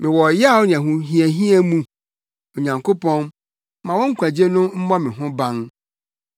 Mewɔ ɔyaw ne ahohiahia mu; Onyankopɔn, ma wo nkwagye no mmɔ me ho ban.